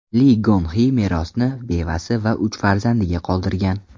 Li Gon Xi merosni bevasi va uch farzandiga qoldirgan.